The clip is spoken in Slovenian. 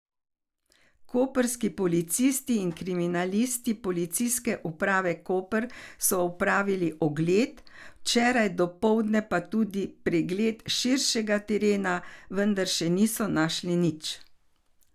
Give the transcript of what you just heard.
Koprski policisti in kriminalisti Policijske uprave Koper so opravili ogled, včeraj dopoldne pa tudi pregled širšega terena, vendar še niso našli nič.